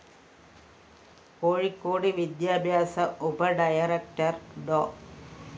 കോഴിക്കോട് വിദ്യാഭ്യാസ ഉപ ഡയറക്ടർ ഡോ